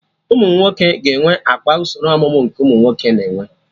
Ụmụnwoke ga-enwe akpa usoro ọmụmụ nke ụmụnwoke na-enwe